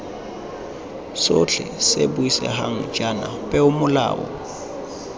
sotlhe se buisegang jaana peomolao